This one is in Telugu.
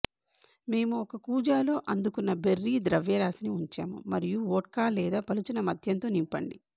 మేము ఒక కూజాలో అందుకున్న బెర్రీ ద్రవ్యరాశిని ఉంచాము మరియు వోడ్కా లేదా పలుచన మద్యంతో నింపండి